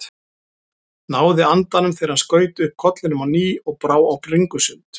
Náði andanum þegar hann skaut upp kollinum á ný og brá á bringusund.